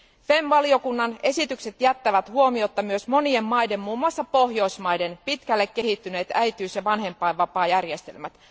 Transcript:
FEMM valiokunnan esitykset jättävät huomiotta myös monien maiden, muun muassa Pohjoismaiden, pitkälle kehittyneet äitiys ja vanhempainvapaajärjestelmät.